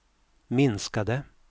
minskade